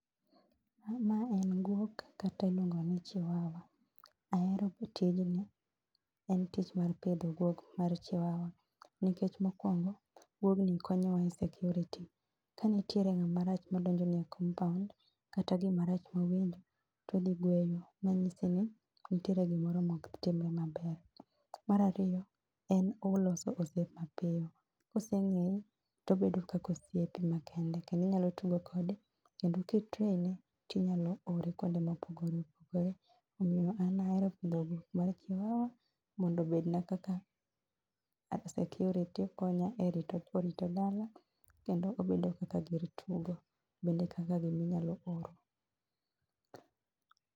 Ma en guok kata iluongo ni chiwawa. Ahero tijni en tich mar pidho guok mar chiwawa nikech mokuongo guogni konyowa e security. Kanitie ngama rach madonjoni e compound kata gimarach mawendo todhi gweyo manyiesini nitie gimoro maok timre maber. Mar ariyo oloso osiep mapiyo kosengeyi tobedo kaka osipni makende kendo inyalo tugo kode kendo ka i train e tinyalo ore kuonde mopogore opogore, omiyo an ahero pidho guok mar chiwawa mondo obedna kaka security konya e rito dala kendo obedo kaka gir tugo bedne kaka gim ainyalo oro